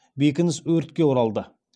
бекініс өртке оралды